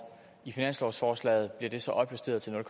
i finanslovsforslaget bliver det så opjusteret til nul